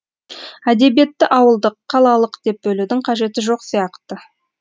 әдебиетті ауылдық қалалық деп бөлудің қажеті жоқ сияқты